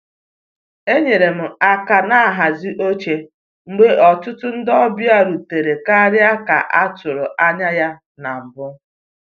Enyere m aka na nhazi oche mgbe ọtụtụ ndị ọbịa rutere karịa ka a tụrụ anya na mbụ